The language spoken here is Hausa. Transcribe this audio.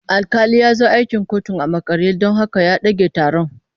Alƙali ya zo akin kotun a makare don haka ya ɗage taron.